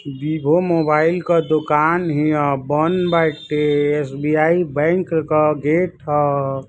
विभो मोबाइल क दोकान हिय। बंद बाटे। एस.बी.आई. बैंक क गेट ह।